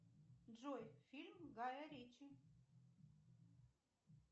джой фильм гая ричи